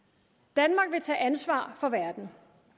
danmark vil tage ansvar for verden